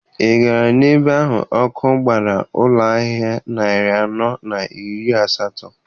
Ị gara n'ebe ahụ ọkụ gbara ụlọ ahịa narị anọ na iri asatọ?